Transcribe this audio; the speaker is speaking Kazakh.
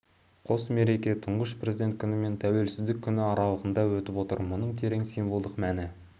қос мереке тұңғыш президент күні мен тәуелсіздік күні аралығында өтіп отыр мұның терең символдық мәні